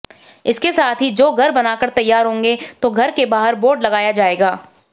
इसके साथ ही जो घर बनकर तैयार होंगे तो घर के बाहर बोर्ड लगाया जाएगा